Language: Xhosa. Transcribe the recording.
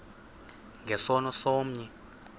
nge sono somnye